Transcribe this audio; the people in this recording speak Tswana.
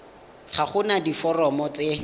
ga go na diforomo tse